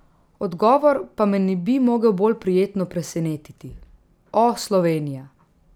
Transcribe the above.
Odgovor pa me ne bi mogel bolj prijetno presenetiti: 'O, Slovenija!